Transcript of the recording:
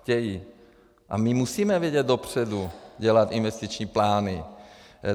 A my musíme vidět dopředu, dělat investiční plány.